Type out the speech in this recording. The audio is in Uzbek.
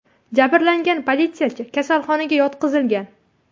Jabrlangan politsiyachi kasalxonaga yotqizilgan.